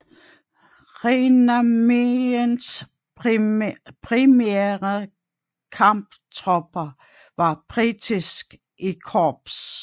Rheinarméens primære kamptropper var British I Corps